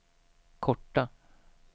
korta